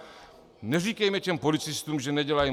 Neříkejme tedy policistům, že nedělají.